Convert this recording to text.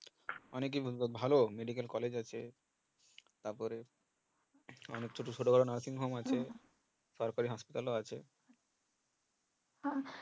ভালো medical college আছে তারপরে ছোট ছোট nursing home আছে তারপরে hospital ও আছে